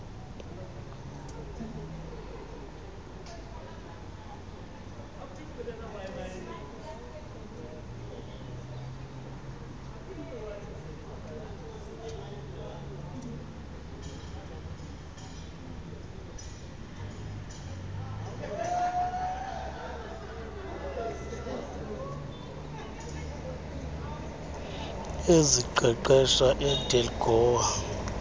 eziqeqesha edelq goa